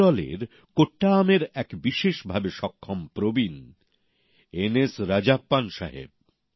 কেরলের কোট্টায়ামের এক ভিন্ন ভাবে সক্ষম প্রবীণ এন এস রাজাপ্পান সাহেব